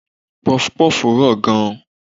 Pọfupọ́ọ̀fù rọ̀ gan.